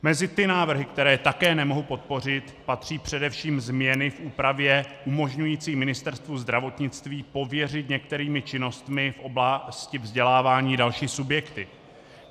Mezi ty návrhy, které také nemohu podpořit, patří především změny v úpravě umožňující Ministerstvu zdravotnictví pověřit některými činnostmi v oblasti vzdělávání další subjekty.